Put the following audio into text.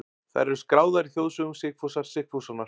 Þær eru skráðar í þjóðsögum Sigfúsar Sigfússonar.